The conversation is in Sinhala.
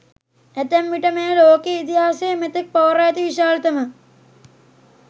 ඇතැම් විට මෙය ලෝක ඉතිහාසයේ මෙතෙක් පවරා ඇති විශාලතම